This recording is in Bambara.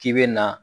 K'i bɛ na